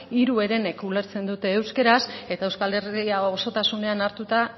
hiru herenek ulertzen dute euskaraz eta euskal herria osotasunean hartuta